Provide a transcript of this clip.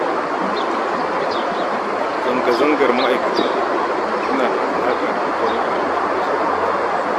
Zanga-zangar ma'aikatan tana da alaƙa da tattalin arziki ƙasar nan